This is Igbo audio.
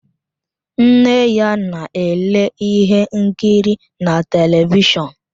Nne ya na-ele ihe nkiri na telivishọn